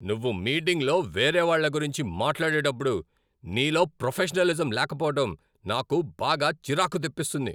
నువ్వు మీటింగులో వేరేవాళ్ళ గురించి మాట్లాడేటప్పుడు నీలో ప్రొఫెషనలిజం లేకపోవడం నాకు బాగా చిరాకు తెప్పిస్తుంది.